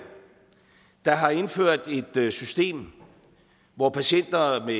der har indført et system hvor patienter med